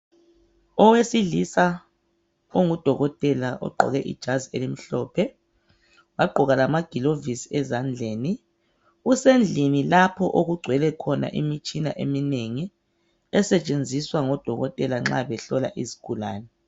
Owesilisa ongudokotela ogqoke ijazi elimhlophe, wagqoka lamagilovisi ezandleni, usendlini lapho okugcwele khona imitshina eminengi esetshenziswa ngodokotela nxa behlola izigulane.